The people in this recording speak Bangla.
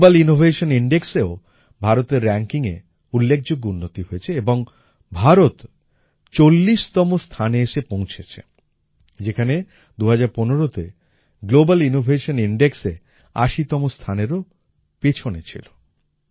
গ্লোবাল ইনোভেশন Indexএও ভারতের rankingএ উল্লেখযোগ্য উন্নতি হয়েছে এবং ভারত চল্লিশতম স্থানে এসে পৌঁছেছে যেখানে ২০১৫তে গ্লোবাল ইনোভেশন Indexএ আশিতম স্থানেরও পিছনে ছিলো